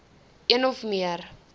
een of meer